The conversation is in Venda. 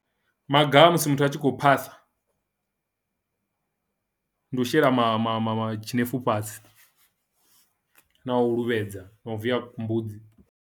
Maga a musi muthu a tshi khou phasa ndi u shela ma ma ma ma tshinefu fhasi na u luvhedza na u viya mbudzi.